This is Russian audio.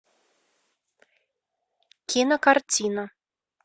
кинокартина